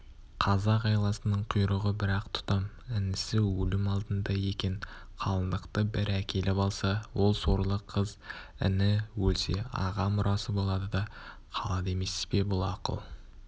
қазақ айласының құйрығы бір-ақ тұтам інісі өлім алдында екен қалыңдықты бір әкеліп алса ол сорлы қыз іні өлсе аға мұрасы болады да қалады емес пе бұл ақыл